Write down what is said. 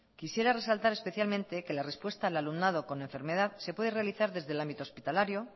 quisiera resaltar especialmente que la respuesta al alumnado con enfermedad se puede realizar desde el ámbito hospitalario